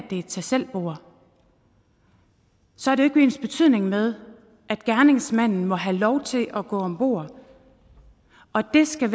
er et tag selv bord så er det ikke ensbetydende med at gerningsmanden må have lov til at gå om bord og det skal